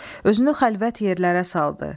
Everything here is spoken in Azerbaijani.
Özünü xəlvət yerlərə saldı.